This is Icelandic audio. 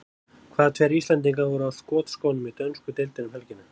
Hvaða tveir Íslendingar voru á skotskónum í dönsku deildinni um helgina?